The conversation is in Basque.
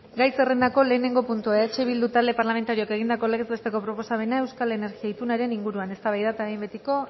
gai zerrendako lehenengo puntua eh bildu talde parlamentarioak egindako legez besteko proposamena euskal energia itunaren inguruan eztabaida eta behin betiko